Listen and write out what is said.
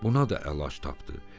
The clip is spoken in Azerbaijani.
Buna da əlac tapdı.